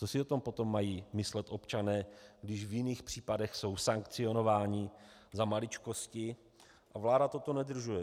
Co si o tom potom mají myslet občané, když v jiných případech jsou sankcionováni za maličkosti a vláda toto nedodržuje?